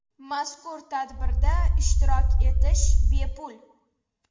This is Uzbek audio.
Mazkur tadbirda ishtirok etish bepul.